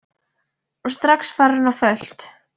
Og strax farin á fullt.